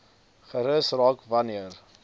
gerus raak wanneer